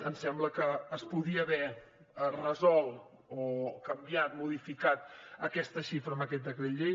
ens sembla que es podia haver resolt o canviat modificat aquesta xifra amb aquest decret llei